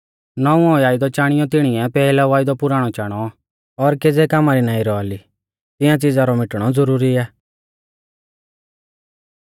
नौंवौ वायदौ चाणियौ तिणीऐ पैहलौ वायदौ पुराणौ चाणौ और ज़ो च़ीज़ पुराणी और केज़ै कामा री नाईं रौआ ली तिंया च़िज़ा रौ मिटणौ ज़रुरी आ